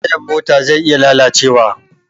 Tayan mota zai iya lalacewa.